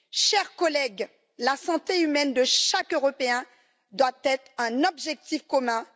Chers collègues, la santé humaine de chaque Européen doit être un objectif commun.